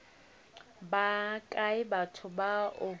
ba kae batho ba o